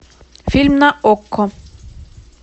фильм на окко